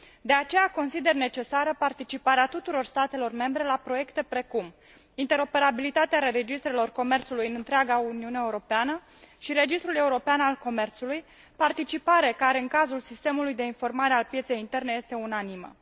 De aceea consider necesară participarea tuturor statelor membre la proiecte precum interoperabilitatea registrelor comerțului în întreaga Uniune Europeană și registrul european al comerțului, participare care, în cazul sistemului de informare al pieței interne, este unanimă.